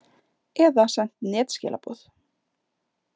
Eða sent netskilaboð.